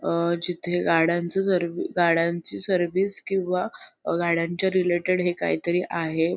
अ जिथे गाड्यांच सर्वी गाड्यांची सर्विस किवा अ गाड्यांच्या रिलेटेड हे काहीतरी आहे.